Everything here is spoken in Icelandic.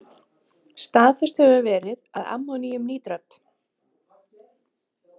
Staðfest hefur verið að ammoníumnítrat.